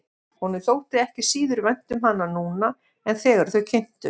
Honum þótti ekki síður vænt um hana núna en þegar þau kynntust.